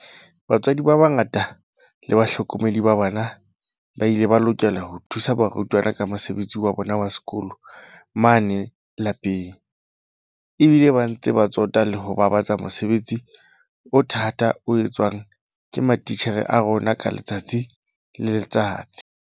Batswadi ba bangata le bahlokomedi ba bana ba ile ba lokela ho thusa barutwana ka mosebetsi wa bona wa sekolo mane lapeng, ba bile ba ntse ba tsota le ho babatsa mosebetsi o thata o etswang ke matitjhere a rona ka letsatsi le letsatsi.